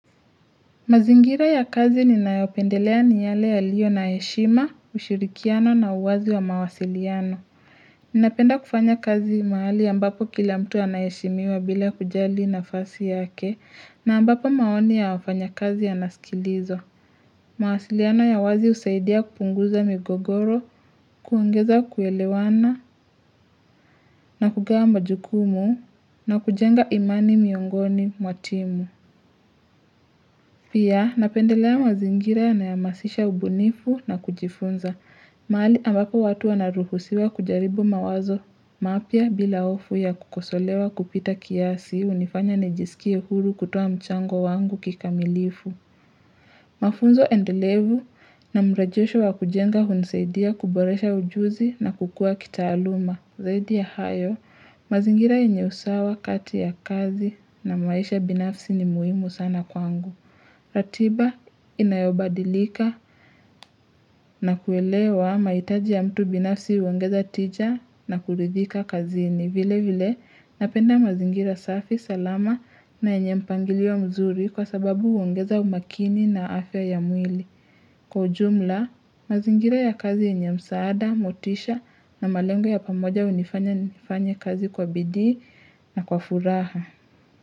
Mazingira ya kazi ninayopendelea ni yale yaliyo na heshima, ushirikiano na uwazi wa mawasiliano. Ninapenda kufanya kazi mahali ambapo kila mtu anaheshimiwa bila kujali nafasi yake na ambapo maoni ya wafanya kazi yanasikilizwa mawasiliano ya uwazi husaidia kupunguza migogoro, kuongeza kuelewana, na kugawa majukumu, na kujenga imani miongoni mwa timu. Pia napendelea mazingira nayamasisha ubunifu na kujifunza. Mahali ambapo watu wanaruhusiwa kujaribu mawazo. Mapya bila hofu ya kukosolewa kupita kiasi hii hunifanya nijisikie huru kutoa mchango wangu kikamilifu. Mafunzo endelevu na mrejesho wa kujenga hunisaidia kuboresha ujuzi na kukua kitaaluma. Zaidi ya hayo mazingira yenye usawa kati ya kazi na maisha binafsi ni muhimu sana kwangu. Ratiba inayobadilika na kuelewa mahitaji ya mtu binafsi huongeza tija na kuridhika kazini vile vile napenda mazingira safi salama na yenye mpangilio mzuri kwa sababu huongeza umakini na afya ya mwili Kwa ujumla mazingira ya kazi yenye msaada, motisha na malengo ya pamoja hunifanya nifanye kazi kwa bidii na kwa furaha.